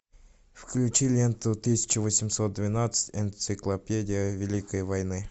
включи ленту тысяча восемьсот двенадцать энциклопедия великой войны